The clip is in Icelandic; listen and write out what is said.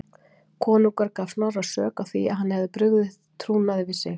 Konungur gaf Snorra sök á því að hann hefði brugðið trúnaði við sig.